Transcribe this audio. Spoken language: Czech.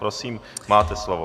Prosím, máte slovo.